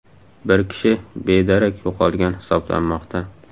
Bir kishi bedarak yo‘qolgan hisoblanmoqda.